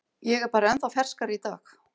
Ég er bara ennþá ferskari í dag.